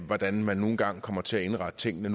hvordan man nu engang kommer til at indrette tingene